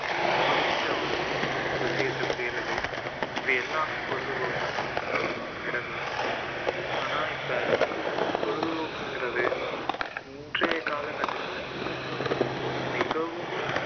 பிடிச்ச ஒரு விஷயத்தை செய்றது இது எல்லாமே பொழுது போக்குலதான் அடங்கும் ஆனா இப்போ பொழுது போக்குங்கிறது இன்றைய கால கட்டத்துல மிகவும்